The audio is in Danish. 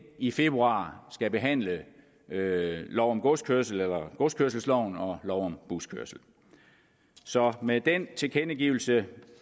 i februar skal behandle lov om godskørsel og godskørsel og lov om buskørsel så med den tilkendegivelse